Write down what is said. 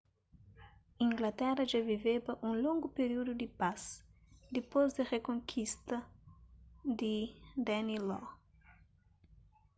inglatera dja viveba un longu períudu di pas dipôs di rikonkista di danelaw